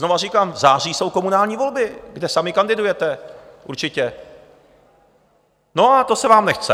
Znovu říkám, v září jsou komunální volby, kde sami kandidujete určitě, no a to se vám nechce.